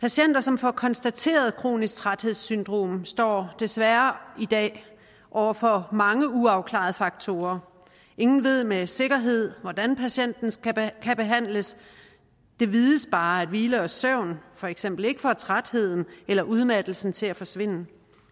patienter som får konstateret kronisk træthedssyndrom står desværre i dag over for mange uafklarede faktorer ingen ved med sikkerhed hvordan patienten kan behandles det vides bare at hvile og søvn for eksempel ikke får trætheden eller udmattelsen til at forsvinde